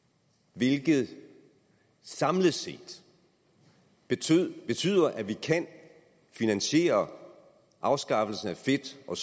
hvilket samlet set betyder betyder at vi kan finansiere afskaffelsen af fedt og